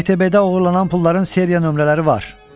FTB-də oğurlanan pulların seriya nömrələri var.